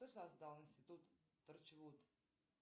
кто создал институт торчвуд